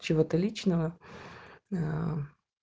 чего-то личного аа